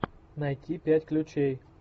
найти пять ключей